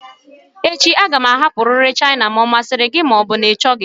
Echi m ga-ahapụrịrị China ma ọ masịrị gị ma ọ bụ na ị chọghị